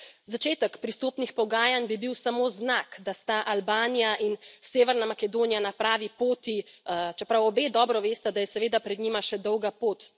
Začetek pristopnih pogajanj bi bil samo znak, da sta Albanija in Severna Makedonija na pravi poti, čeprav obe dobro vesta, da je seveda pred njima še dolga pot.